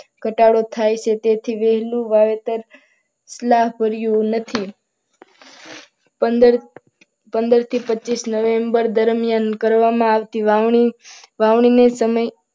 ઘટાડો થાય છે તેથી વહેલું વાવેતર લાભ ભર્યું નથી. પંદર પંદરથી પચીસ નવેમ્બર કરવામાં આવતી વાવણી સમય